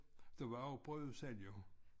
Der var jo brødudsalg jo